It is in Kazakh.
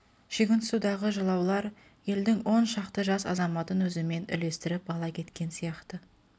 шүйгінсудағы жылаулар елдің он шақты жас азаматын өзімен ілестіріп ала кеткен сияқты